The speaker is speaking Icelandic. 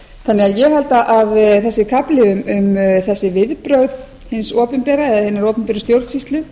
þannig að ég held að þessi kafli um þessi viðbrögð hins opinbera eða hinnar opinberu stjórnsýslu